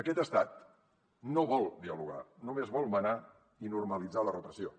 aquest estat no vol dialogar només vol manar i normalitzar la repressió